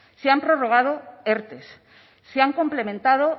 se han prorrogado erte se han complementado